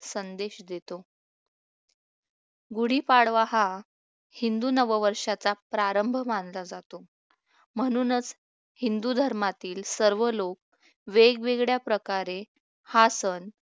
संदेश देतो गुढीपाडवा हा हिंदू नववर्षाचा प्रारंभ मानला जातो म्हणूनच हिंदू धर्मातील सर्व लोक वेगवेगळ्या प्रकारे हा सण